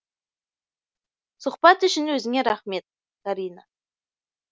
сұхбат үшін өзіңе рақмет карина